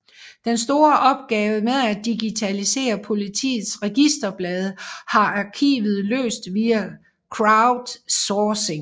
Den store opgave med at digitalisere Politiets registerblade har arkivet løst via crowdsourcing